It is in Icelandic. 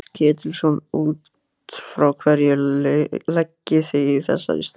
Páll Ketilsson: Út frá hverju leggið þið í þessari stækkun?